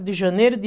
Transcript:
de janeiro de